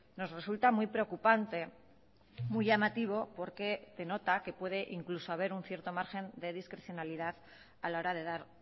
nos resulta muy preocupante muy llamativo porque denota que puede incluso haber un cierto margen de discrecionalidad a la hora de dar